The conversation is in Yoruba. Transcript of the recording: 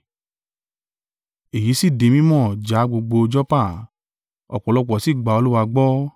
Èyí sì di mí mọ̀ já gbogbo Joppa; ọ̀pọ̀lọpọ̀ sì gba Olúwa gbọ́.